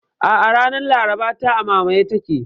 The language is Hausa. A'a, ranar Laraba ta, a mamaye take